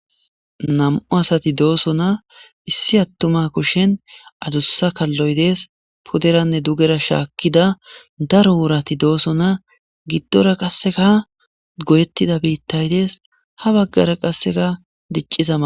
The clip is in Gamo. Nm7u asati doosona issi attuma kushen adussa kalloy de'es pudenne dugera shaakkida daro worati doosona giddora qasseka goyettida biittay de'es ha baggara qasseka diccizama: